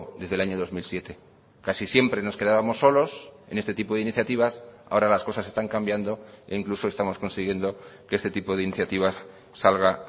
desde el año dos mil siete casi siempre nos quedábamos solos en este tipo de iniciativas ahora las cosas están cambiando e incluso estamos consiguiendo que este tipo de iniciativas salga